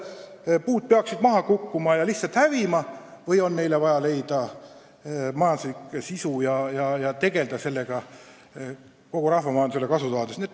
Kas puud peaksid maha kukkuma ja lihtsalt hävima või on neile vaja leida majanduslik otstarve ja tegelda sellega kogu rahvamajandusele kasu tuues?